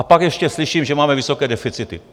A pak ještě slyším, že máme vysoké deficity.